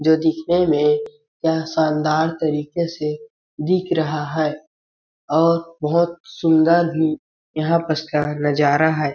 जो दिखने में यह शानदार तरीके से दिख रहा है और बहुत सुंदर भी यहाँ पस का नज़ारा है।